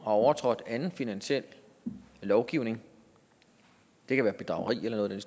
overtrådt anden finansiel lovgivning det kan være bedrageri eller noget i